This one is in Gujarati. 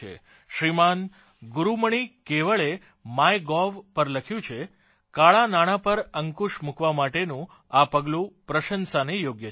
શ્રીમાન ગુરૂમણિ કેવળે માય ગોવ પર લખ્યું છે કાળાં નાણાં પર અંકુશ મૂકવા માટેનું આ પગલું પ્રશંસાને યોગ્ય છે